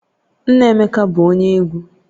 Nna Emeka bụ onye egwu